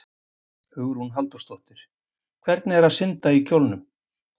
Hugrún Halldórsdóttir: Hvernig er að synda í kjólnum?